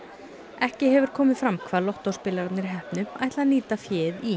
ekki hefur komið fram hvað lottóspilararnir heppnu ætla að nýta féð í